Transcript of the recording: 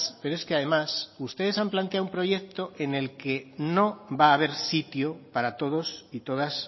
pero es que además ustedes han planteado un proyecto en el que no va a haber sitio para todos y todas